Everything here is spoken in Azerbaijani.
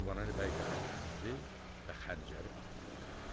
Qurbanəli bəy dəxi dinmədi və xəncəri atdı yerə.